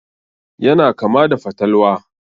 Yana kama da fatalwa.